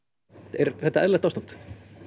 er þetta eðlilegt ástand